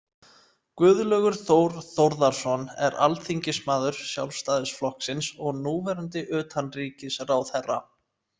Guðlaugur Þór Þórðarson er alþingismaður Sjálfstæðisflokksins og núverandi utanríkisráðherra.